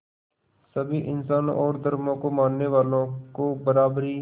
सभी इंसानों और धर्मों को मानने वालों को बराबरी